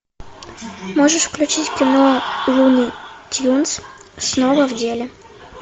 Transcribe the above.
можешь включить кино луни тюнз снова в деле